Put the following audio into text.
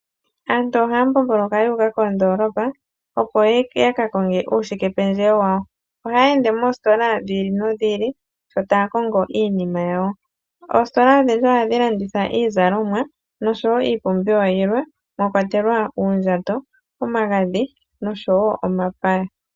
Aantu ohaya mbomboloka yuuka kondoolopa opo ya ka konge uushikependjewo wawo. Ohaya ende moositola dhi ili nodhi ili sho taya kongo iinima yawo. Oositola odhindji ohadhi landitha iizalomwa noshowo iipumbiwa yilwe mwa kwatelwa uundjato, omagadhi noshowo omapaya.